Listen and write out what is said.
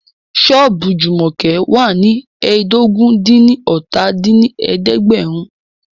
Ṣọ́ọ̀bù Jùmọ̀kẹ́ wà ní ẹ́ẹdógún-dín-ní-ọ́ta dín ní ẹ̀ẹ́dẹ́gbẹ́rún